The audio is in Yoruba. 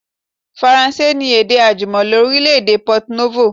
Faransé ni èdè àjùmọ̀lo orílẹ̀ èdè Port Novo